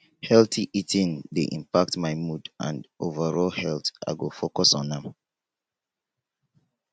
healthy eating dey impact my mood and overall health i go focus on am